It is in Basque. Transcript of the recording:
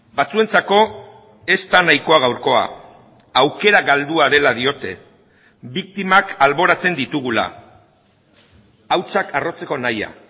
batzuentzako ez da nahikoa gaurkoa aukera galdua dela diote biktimak alboratzen ditugula hautsak arrotzeko nahia